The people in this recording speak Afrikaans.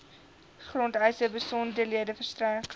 grondeise besonderhede verstrek